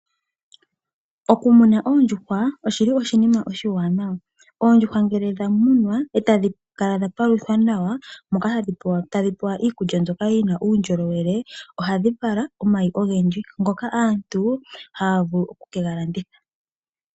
Okumuna oondjuhwa oshili oshinima oshiwaanawa. Oondjuhwa ngele dha munwa, e tadhi kala dha paluthwa nawa, moka tadhi pewa iikulya mbyoka yina uundjolowele, ohadhi vala omayi ogendji, ngoka aantu haya vulu oku ke ga landitha.